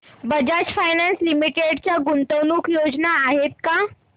Bajaj finance limited च्या गुंतवणूक योजना आहेत का